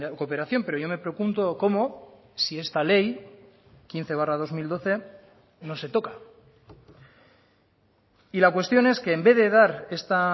cooperación pero yo me pregunto cómo si esta ley quince barra dos mil doce no se toca y la cuestión es que en vez de dar esta